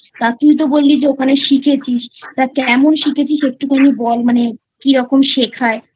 তা তুই তো বললি ওখানে শিখেছিস তা কেমন শিখেছিস একটুখানি বল মানে কিরকম শেখায়?